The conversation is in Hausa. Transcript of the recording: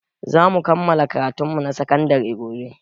Zamu kammala karatun mu na sakan dare gobe